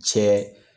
Cɛ